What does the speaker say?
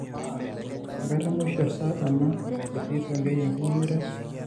Amaa? enkata emusho asa ena etiii Tonkei enkiyinyiret?